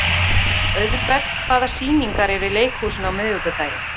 Auðbert, hvaða sýningar eru í leikhúsinu á miðvikudaginn?